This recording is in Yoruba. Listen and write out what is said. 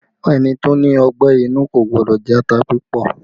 Ẹni tó ní ọgbẹ́ inú kò gbọ́dọ̀ jẹ ata púpọ̀